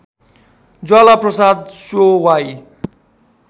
ज्वाला प्रसाद स्यो वाइ